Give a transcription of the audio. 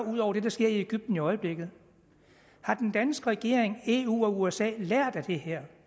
ud over det der sker i egypten i øjeblikket har den danske regering eu og usa lært af det her